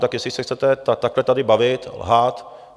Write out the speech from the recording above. Tak jestli se chcete takhle tady bavit, lhát...